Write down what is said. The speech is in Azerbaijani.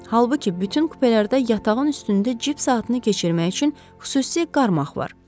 Halbuki bütün kupelərdə yatağın üstündə cip saatını keçirmək üçün xüsusi qarmaq var.